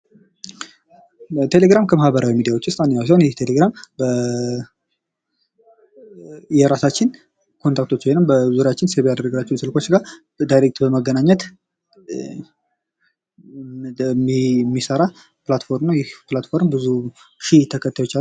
በቴሌግራም ከማኅበራዊ ሚዲያዎች ውስጥ አንዱ ሲሆን፤ ቴሌግራም በየራሳችን ኮንታክቶች ወይም በዙሪያችን ሴቭ ያደረግናቸውን ስልኮች ዳይሬክት በማገናኘት የሚሰራ ፕላትፎርም ነው። ይህ ፕላትፎርም ብዙ ሺህ ተከታዮች አሉጥ